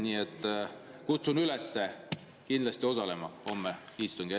Nii et kutsun üles kindlasti osalema homsel istungil.